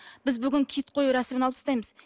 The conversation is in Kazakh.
біз бүгін киіт қою рәсімін алып тастаймыз